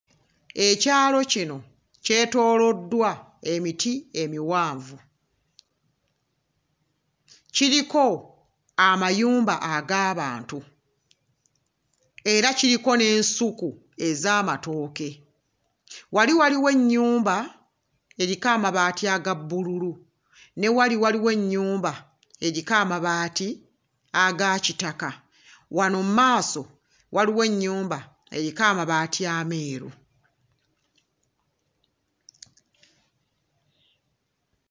Ekyalo kino kyetooloddwa emiti emiwanvu kiriko amayumba ag'abantu era kiriko n'ensuku ez'amatooke wali waliwo ennyumba eriko amabaati aga bbululu ne wali waliwo ennyumba eriko amabaati aga kitaka wano mmaaso waliwo ennyumba eriko amabaati ameeru.